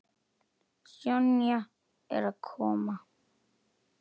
Sonja er að koma.